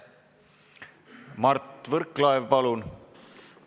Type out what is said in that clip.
Mart Võrklaev, palun!